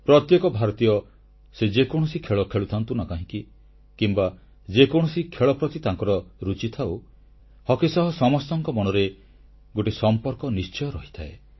ପ୍ରତ୍ୟେକ ଭାରତୀୟ ସେ ଯେକୌଣସି ଖେଳ ଖେଳୁଥାନ୍ତୁ ନା କାହିଁକି କିମ୍ବା ଯେକୌଣସି ଖେଳ ପ୍ରତି ତାଙ୍କର ରୁଚି ଥାଉ ହକି ସହ ସମସ୍ତଙ୍କ ମନରେ ଗୋଟିଏ ସମ୍ପର୍କ ନିଶ୍ଚୟ ରହିଥାଏ